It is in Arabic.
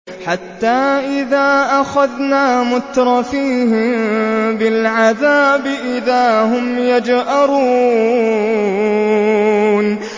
حَتَّىٰ إِذَا أَخَذْنَا مُتْرَفِيهِم بِالْعَذَابِ إِذَا هُمْ يَجْأَرُونَ